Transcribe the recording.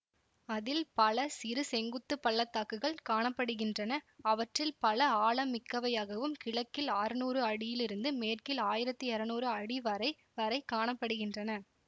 அதில் பல சிறு செங்குத்துப் பள்ளத்தாக்குகள் காண படுகின்றன அவற்றில் பல ஆழம் மிக்கவையாகவும் கிழக்கில் ஆற்நூறு அடியிலிருந்து மேற்கில் ஆயிரத்தி இருநூறு அடி வரை வரை காண படுகின்றன